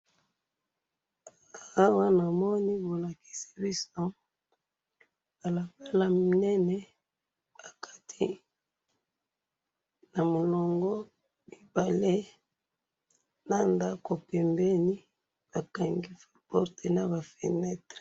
Awa namoni balakisi biso balabala munene, bakati namulongo mibale, nandako pembeni bakangi ba porte naba feunetre